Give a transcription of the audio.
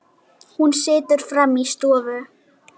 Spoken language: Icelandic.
Hún situr frammi í stofu.